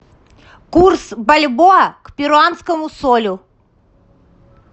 курс бальбоа к перуанскому солю